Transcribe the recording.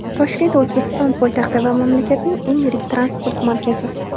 Toshkent O‘zbekiston poytaxti va mamlakatning eng yirik transport markazi.